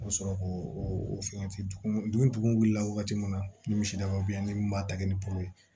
Ka sɔrɔ k'o o fɛngɛ dugu wuli la wagati min na ni misidabaw be yan ni min b'a ta kɛ ni bolo ye